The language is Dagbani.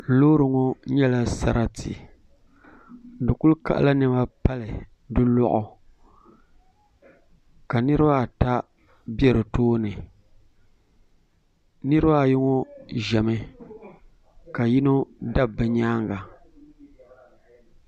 Loori ŋɔ nyɛla sarati di ku kaɣala niɛma pali di loɣu ka niraba ata bɛ di tooni niraba ayi ŋɔ ʒɛmi ka yino dabi bi nyaanga